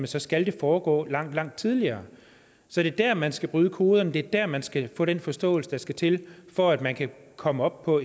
så skal det foregå langt langt tidligere så det er der man skal bryde koderne det er der man skal få den forståelse der skal til for at man kan komme op på